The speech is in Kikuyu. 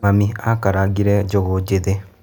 Mami akarangire njugu njĩthĩ